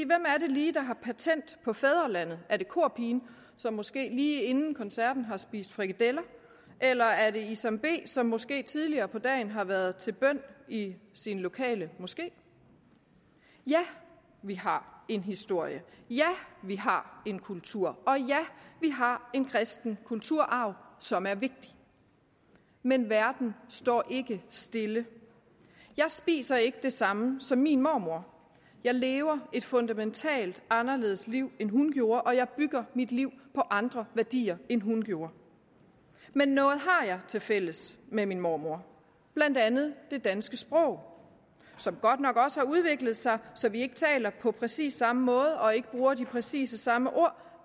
hvem er det lige der har patent på fædrelandet er det korpigen som måske lige inden koncerten har spist frikadeller eller er det isam b som måske tidligere på dagen har været til bøn i sin lokale moské ja vi har en historie ja vi har en kultur og ja vi har en kristen kulturarv som er vigtig men verden står ikke stille jeg spiser ikke det samme som min mormor jeg lever et fundamentalt anderledes liv end hun gjorde jeg bygger mit liv på andre værdier end hun gjorde men noget har jeg tilfælles med min mormor blandt andet det danske sprog som godt nok også har udviklet sig så vi ikke taler på præcis samme måde og ikke bruger præcis de samme ord